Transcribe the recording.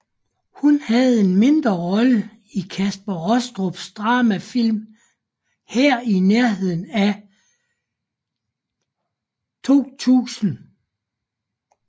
Hun havde en mindre rolle i Kaspar Rostrups dramafilm Her i nærheden i 2000